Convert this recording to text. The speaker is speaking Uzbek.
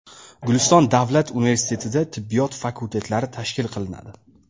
Guliston davlat universitetida tibbiyot fakultetlari tashkil qilinadi.